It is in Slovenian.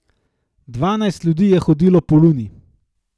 Dvanajst ljudi je hodilo po Luni.